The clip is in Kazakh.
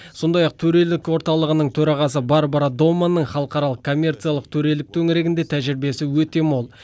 сондай ақ төрелік орталығының төрағасы барбара доманның халықаралық коммерциялық төрелік төңірегінде тәжірибесі өте мол